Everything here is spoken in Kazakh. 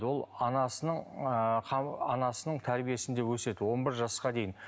ол анасының ы анасының тәрбиесінде өседі он бір жасқа дейін